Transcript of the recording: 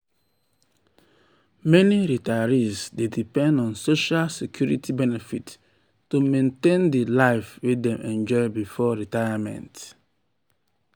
afta she um get um surprise tax refund she feel relieved and ready financially for di um future.